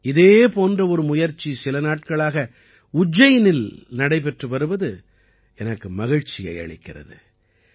இதே போன்ற ஒரு முயற்சி சில நாட்களாக உஜ்ஜயினில் நடைபெற்று வருவது எனக்கு மகிழ்ச்சியை அளிக்கிறது